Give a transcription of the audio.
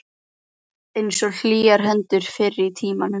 Einsog hlýjar hendurnar fyrr í tímanum.